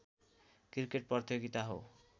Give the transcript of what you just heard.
cricket प्रतियोगिता हो